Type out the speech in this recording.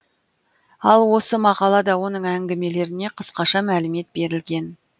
ал осы мақалада оның әңгімелеріне қысқаша мәлімет берілген